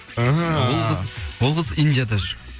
ол қыз индияда жүр